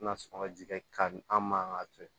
Na sɔrɔ ka ji kɛ ka an man ka to yen